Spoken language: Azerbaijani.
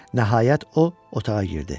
Nəhayət, o otağa girdi.